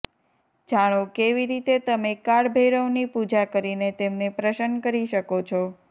જાણો કેવી રીતે તમે કાળ ભૈરવની પૂજા કરીને તેમને પ્રસન્ન કરી શકો છો